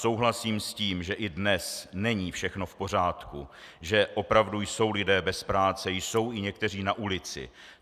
Souhlasím s tím, že i dnes není všechno v pořádku, že opravdu jsou lidé bez práce, jsou i někteří na ulici.